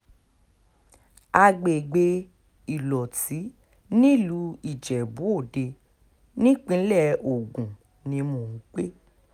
àgbègbè ìlọ́tí nílùú ijebu-òde nípínlẹ̀ ogun ni mò ń gbé